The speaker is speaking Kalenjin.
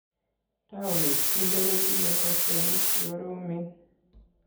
Taonit kinte kotinyei poishonik chikoromen.